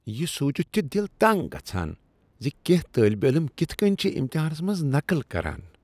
یہ سونٛچتھ چھ دل تنٛگ گژھان ز کٮ۪نٛہہ طٲلبہ علم کتھہٕ کٕنۍ چھ امتحانس منٛز نقل کران ۔